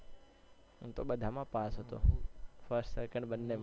હું તો બધા માં પાસ હતો first second બંને માં